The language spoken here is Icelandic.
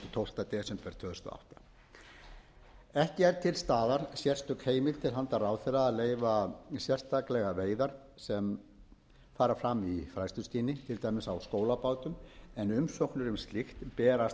tólfta desember tvö þúsund og átta ekki er til staðar sérstök heimild til handa ráðherra að leyfa sérstaklega veiðar sem fara fram í fræðsluskyni til dæmis á skólabátum en umsóknir um slíkt berast